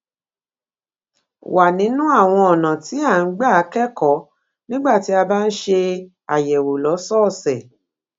wa nínú àwọn ọnà tí a gbà ń kẹkọọ nígbà tí a bá ń ṣe àyẹwò lọsọọsẹ